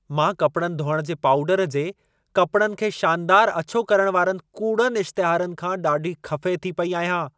मां कपड़नि धोइण जे पाउडर जे, कपिड़नि खे शानदार अछो करण वारनि कूड़नि इश्तिहारनि खां ॾाढी ख़फ़े थी पेई आहियां।